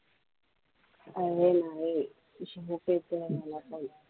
अरे नाही झोप येते मला